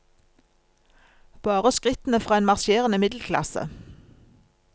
Bare skrittene fra en marsjerende middelklasse.